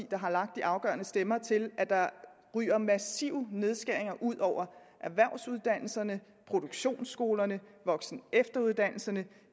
der har lagt de afgørende stemmer til at der ryger massive nedskæringer ud over erhvervsuddannelserne produktionsskolerne voksen og efteruddannelserne